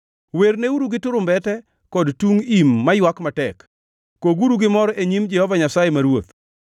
werneuru gi turumbete kod tung im maywak matek, koguru gi mor e nyim Jehova Nyasaye ma Ruoth.